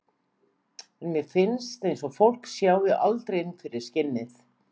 En mér finnst eins og fólk sjái aldrei inn fyrir skinnið.